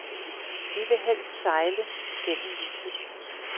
Vi vil helst sejle gennem livet.